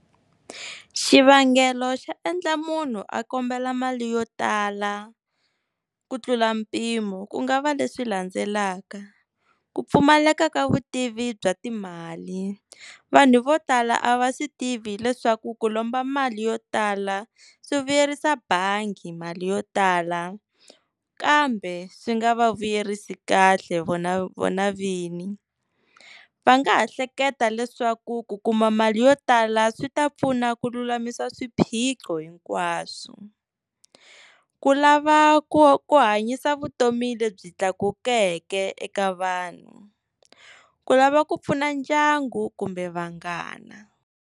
Xivangelo xa endla munhu a kombela mali yo tala ku tlula mpimo ku nga va leswi landzelaka ku pfumaleka ka vutivi bya timali vanhu vo tala a va swi tivi leswaku ku lomba mali yo tala swi vuyerisa bangi mali yo tala kambe swi nga va vuyerisi kahle vona vona vini va nga ha hleketa leswaku ku kuma mali yo tala swi ta pfuna ku lulamisa swiphiqo hinkwaswo. Ku lava ku ku hanyisa vutomi lebyi tlakukeke eka vanhu, ku lava ku pfuna ndyangu kumbe vanghana.